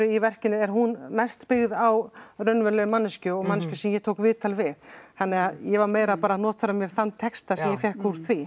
í verkinu er hún mest byggð á raunverulegri manneskju og manneskju sem ég tók viðtal við þannig að ég var meira bara að notfæra mér þann texta sem ég fékk úr því